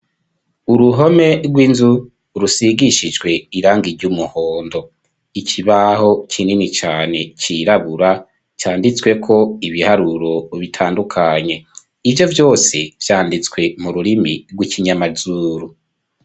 Uruhome rw'inzu, rusigishijwe, irangi ry'umuhondo; ikibaho kinini cane, cirabura, canditsweko ibiharuro, bitandukanye; ivyo vyose, vyanditswe mu rurimi, rw'ikinyamazuru.